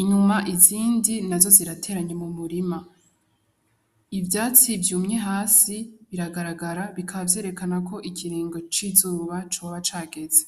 Inyuma izindi nazo zirateranye mu murima, Ivyatsi vyumye hasi biragaragara bikaba vyerekana ko ikiringo c'izuba coba cageze.